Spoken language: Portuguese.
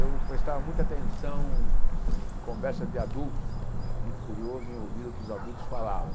Eu prestava muita atenção em conversa de adulto, era muito curioso em ouvir o que os adultos falavam.